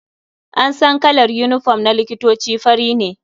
An san kalar unifom na likitoci fari ne.